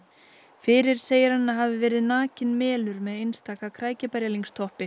fyrir segir hann að hafi verið nakinn með einstaka